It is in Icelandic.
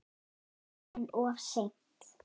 En of seint.